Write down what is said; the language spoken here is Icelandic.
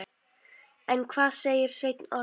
En hvað segir Sveinn Orri?